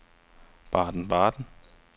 Baden-Baden